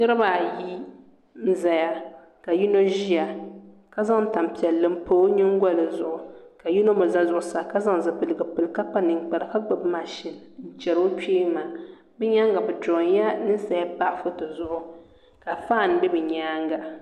niriba ayi n zaya ka yino ʒiya ka zaŋ tam' piɛlli m pa o nyingoli zuɣu ka yino mi za zuɣusaa ka zaŋ zipiligu pili ka kpa ninkpara ka gbibi machine n-cheri o kpee maa bɛ nyaaŋa bɛ durɔyila ninsala m-pa foto zuɣu ka fan be bɛ nyaanga